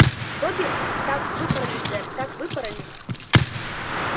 добби так выпороли сэр так выпороли